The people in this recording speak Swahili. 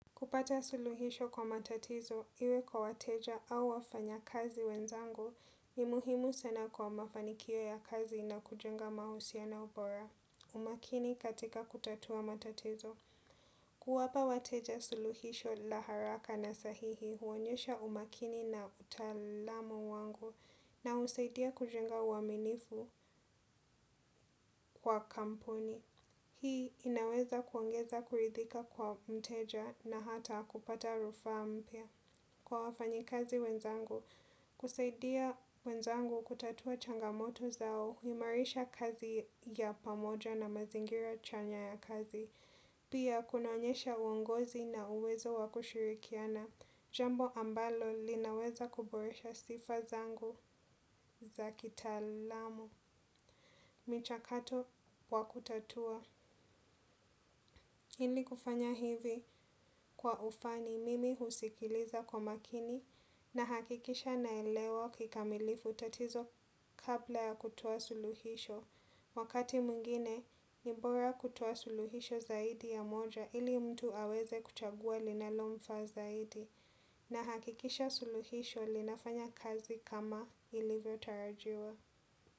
Kupata suluhisho kwa matatizo iwe kwa wateja au wafanya kazi wenzangu ni muhimu sena kwa mafanikio ya kazi na kujenga mahusiano pora. Umakini katika kutatua matatizo. Kuwapa wateja suluhisho la haraka na sahihi huonyesha umakini na utalamu wangu na usaidia kujenga uaminifu kwa kampuni. Hii inaweza kuongeza kuridhika kwa mteja na hata kupata rufa mpya. Kwa wafanyi kazi wenzangu, kusaidia wenzangu kutatua changamoto zao, huimarisha kazi ya pamoja na mazingira chanya ya kazi. Pia kunaonyesha uongozi na uwezo wakushirikiana, jambo ambalo linaweza kuboresha sifa zangu za kitalamu. Michakato wa kutatua, ili kufanya hivi kwa ufani mimi husikiliza kwa makini na hakikisha naelewa kikamilifu tatizo kabla ya kutoa suluhisho. Wakati muingine, ni bora kutoa suluhisho zaidi ya moja ili mtu aweze kuchagua linalo mfa zaidi na hakikisha suluhisho linafanya kazi kama ilivyo tarajiwa.